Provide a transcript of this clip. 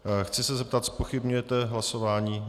Chci se zeptat, zpochybňujete hlasování?